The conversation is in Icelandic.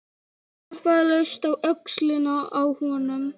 Ég klappaði laust á öxlina á honum.